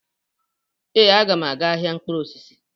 Ee, m ga-aga ahịa mkpụrụ osisi.